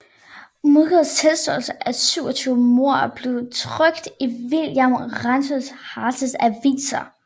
Mudgetts tilståelse af 27 mord blev trykt i William Randolph Hearsts aviser